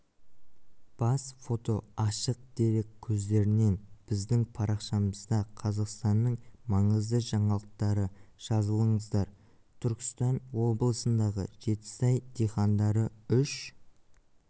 бас фото ашық дерек көздерінен біздің парақшамызда қазақстанның маңызды жаңалықтары жазылыңыздар түркістан облысындағы жетісай диқандары үш